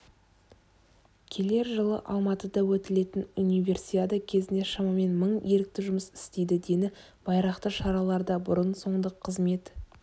келер жылы алматыда өтетін универсиада кезінде шамамен мың ерікті жұмыс істейді дені байрақты шараларда бұрын-соңды қызмет